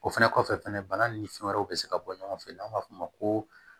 O fɛnɛ kɔfɛ fɛnɛ bana ni fɛn wɛrɛw bɛ se ka bɔ ɲɔgɔn fɛ n'an b'a f'o ma ko